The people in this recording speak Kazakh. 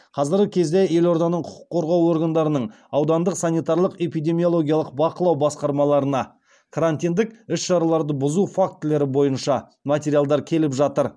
қазіргі кезде елорданың құқық қорғау органдарынан аудандық санитарлық эпидемиологиялық бақылау басқармаларына карантиндік іс шараларды бұзу фактілері бойынша материалдар келіп жатыр